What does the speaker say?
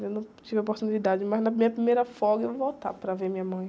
Eu não tive a oportunidade, mas na minha primeira folga eu vou voltar para ver minha mãe.